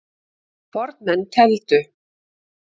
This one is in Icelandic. Fornmenn tefldu.